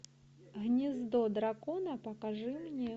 гнездо дракона покажи мне